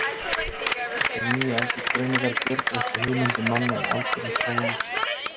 Þessar nýju aldursgreiningar gjörbreyttu hugmyndum manna um aldur og þróun Íslands.